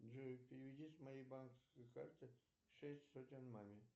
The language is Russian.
джой переведи с моей банковской карты шесть сотен маме